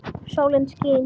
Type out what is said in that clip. Sólin skín.